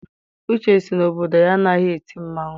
Uche sị na obodo ya anaghị eti mmanwụ.